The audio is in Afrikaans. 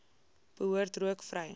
behoort rook vry